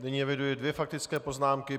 Nyní eviduji dvě faktické poznámky.